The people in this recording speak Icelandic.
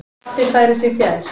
Pabbi færir sig fjær.